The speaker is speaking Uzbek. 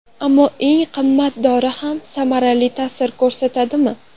Ammo eng qimmat dori ham samarali ta’sir ko‘rsatadimi?